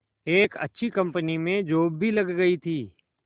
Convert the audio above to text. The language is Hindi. एक अच्छी कंपनी में जॉब भी लग गई थी